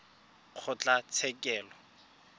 kgotlatshekelo